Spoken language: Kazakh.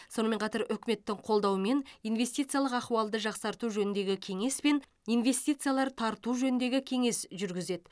сонымен қатар үкіметтің қолдауымен инвестициялық ахуалды жақсарту жөніндегі кеңес пен инвестициялар тарту жөніндегі кеңес жүргізеді